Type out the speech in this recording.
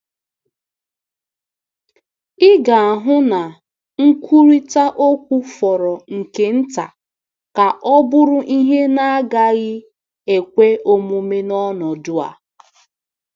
Ị ga-ahụ na nkwurịta okwu fọrọ nke nta ka ọ bụrụ ihe na-agaghị ekwe omume n’ọnọdụ a.